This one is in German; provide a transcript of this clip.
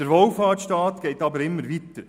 Der Wohlfahrtsstaat geht aber immer weiter.